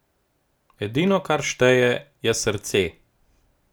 Edino, kar šteje, je srce.